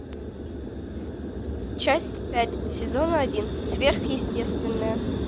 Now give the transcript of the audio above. часть пять сезона один сверхъестественное